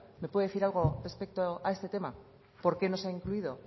me puede decir algo respecto a este tema por qué no se ha incluido